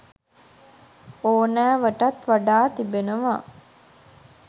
ඕනෑවටත් වඩා තිබෙනවා